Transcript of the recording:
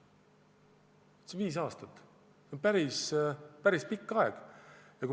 See on viis aastat, päris pikk aeg.